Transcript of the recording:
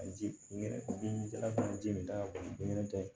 A ji nɛrɛjila fana ji min ta kɔni tɛ